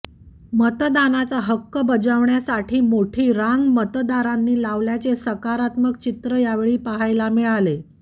मतदानाचा हक्क बजावण्यासाठी मोठी रांग मतदारांनी लावल्याचे सकारात्मक चित्र यावेळी पहायला मिळाले